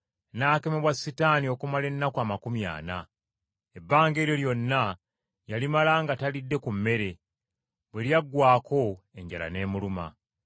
n’akemebwa Setaani okumala ennaku amakumi ana. Ebbanga eryo lyonna yalimala nga talidde ku mmere, bwe lyaggwaako enjala n’emuluma.